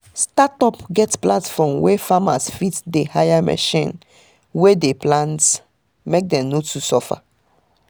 startup get platform wey farmers fit dey hire machine wey dey plant make dem no too suffer